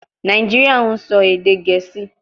Nàìjíríà ń sọ èdè Gẹ̀ẹ́sì